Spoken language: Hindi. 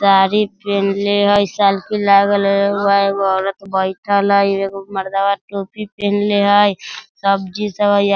साड़ी पिनहले हेय साइकिल आब रहले वहां एगो औरत बैठल हेय एगो मर्दावा टोपी पिन्हले हेय सब्जी सब हेय।